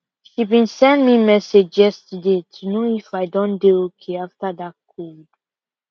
she been send me message yesterday to know if i don dey okay after that cold